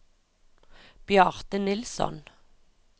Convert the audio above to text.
Bjarte Nilsson